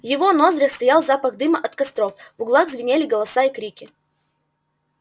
в его ноздрях стоял запах дыма от костров в угпах звенели голоса и крики